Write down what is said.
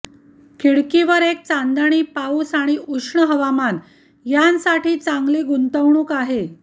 खिडकीवर एक चांदणी पाऊस आणि उष्ण हवामान यांसाठी चांगली गुंतवणूक आहे